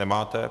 Nemáte.